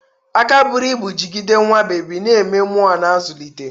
Aka buru ibu jigide nwa bebi, na-eme mmuo na-azụlite.